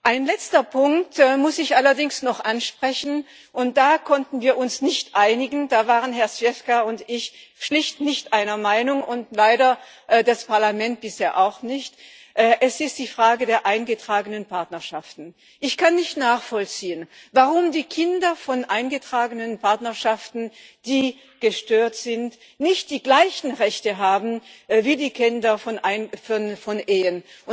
Einen letzten Punkt muss ich allerdings noch ansprechen, und da konnten wir uns nicht einigen, da waren Herr Zwiefka und ich schlicht nicht einer Meinung und leider das Parlament bisher auch nicht Es ist die Frage der eingetragenen Partnerschaften. Ich kann nicht nachvollziehen, warum die Kinder aus eingetragenen Partnerschaften, in denen es Probleme gibt, nicht die gleichen Rechte haben wie die Kinder aus Ehen.